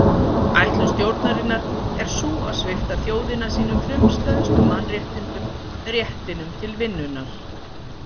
Ætlun stjórnarinnar er sú að svipta þjóðina sínum frumstæðustu mannréttindum réttinum til vinnunnar.